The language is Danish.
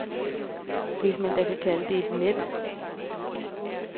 Hvis man da kan kalde det et net.